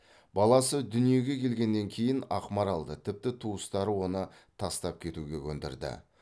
баласы дүниеге келгеннен кейін ақмаралды тіпті туыстары оны тастап кетуге көндірді